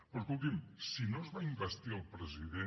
però escolti’m si no es va investir el president